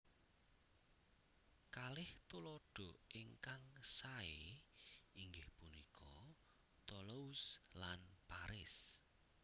Kalih tuladha ingkang saé inggih punika Toulouse lan Paris